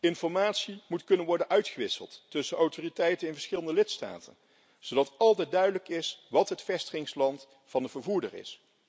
Informatie moet kunnen worden uitgewisseld tussen autoriteiten in verschillende lidstaten, zodat altijd duidelijk is wat het vestigingsland van de vervoerder is.